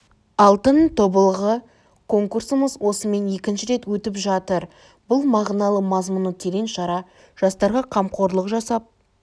алтын тобылғы конкурсымыз осымен екінші рет өтіп жатыр бұл мағыналы мазмұны терең шара жастарға қамқорлық жасап